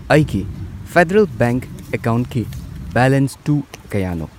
ꯑꯩꯒꯤ federal bank ꯑꯦꯀꯥꯎꯟꯠꯀꯤ ꯕꯦꯂꯦꯟꯁꯇꯨ ꯀꯌꯥꯅꯣ?